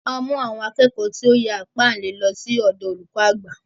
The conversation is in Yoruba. A mú àwọn akẹ́kọ̀ọ́ tí ó ti ya ìpáǹle, lọ sí ọ̀dọ olùkọ àgbà.